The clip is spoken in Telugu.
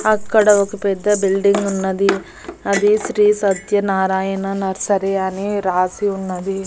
అక్కడ ఒక పెద్ద బిల్డింగ్ ఉన్నది అది శ్రీ సత్యనారాయణ నర్సరీ అని రాసి ఉన్నది.